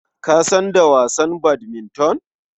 Ka san da wasan badminton?